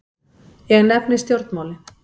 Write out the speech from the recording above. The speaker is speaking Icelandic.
Ég nefni stjórnmálin.